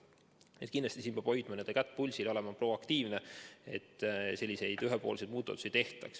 Nii et kindlasti peab hoidma kätt pulsil ja olema proaktiivne, et selliseid ühepoolseid muudatusi ei tehtaks.